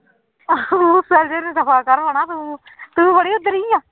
ਉਹ ਮੂਸਲ ਜਿਹੇ ਨੁੰ ਦਫ਼ਾ ਕਰ ਹਨਾ ਤੂੰ